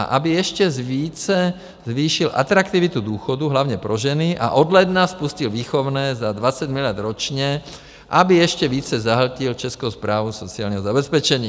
A aby ještě více zvýšil atraktivitu důchodu hlavně pro ženy a od ledna spustil výchovné za 20 miliard ročně, aby ještě více zahltil Českou správu sociálního zabezpečení.